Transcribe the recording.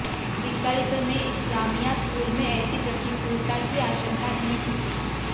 विकल्प में इस्लामिया स्कूल में ऐसी प्रतिकूलता की आशंका नहीं थी